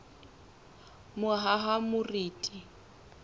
mohahamoriti